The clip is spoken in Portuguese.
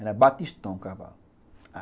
Era batistão o cavalo.